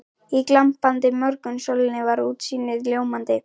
Í glampandi morgunsólinni var útsýnið ljómandi.